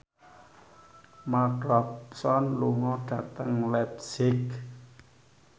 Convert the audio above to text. Mark Ronson lunga dhateng leipzig